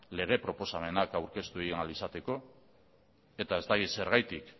lege proposamenak aurkeztu egin ahal izateko eta ez dakit zergatik